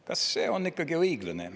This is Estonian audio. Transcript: Kas see on õiglane?